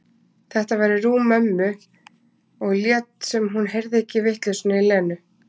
Þetta væri rúm mömmu, og lét sem hún heyrði ekki vitleysuna í Lenu.